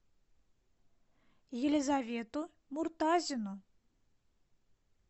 елизавету муртазину